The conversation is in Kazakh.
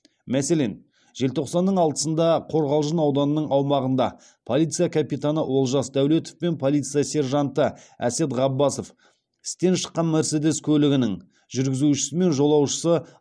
мәселен желтоқсанның алтысында қорғалжын ауданының аумағында полиция капитаны олжас дәулетов пен полиция сержанты әсет ғаббасов істен шыққан мерседес көлігінің жүргізушісі мен жолаушысы